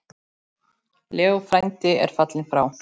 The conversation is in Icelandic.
Leó frændi er fallinn frá.